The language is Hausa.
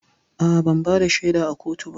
A'a, ban bada shaida a kotu ba